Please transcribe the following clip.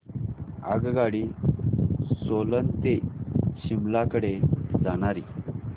आगगाडी सोलन ते शिमला कडे जाणारी